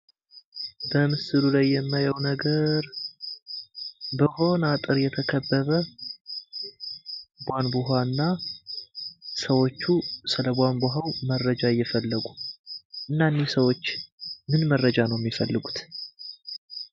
በምስሉ ላይ የማየው ነገር በሆነ አጥር የተከበበ ቧንቧ እና ሰዎቹ ስለ ቧንቧው መረጃ እየፈለጉ። እና እነዚህ ሰዎች ምን መረጃ ነው የሚፈልሁት?